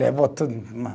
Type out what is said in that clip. Levou tudo.